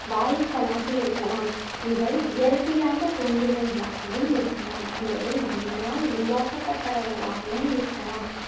வாயுக்கலாக இருக்கலாம் இவை இயற்கையாக தோன்றியவைகளாகவும் இருக்கலாம் அல்லது மனிதனால் உருவாக்கப்பட்டவைகளாகவும் இருக்கலாம்